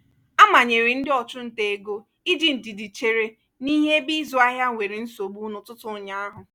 a manyere ndị ọchụnta ego iji ndidi chere n'ihe ebe ịzụ ahịa nwere nsogbu n'ụtụtụ ụnyaahụ.